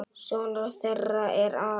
Sonur þeirra er Aron.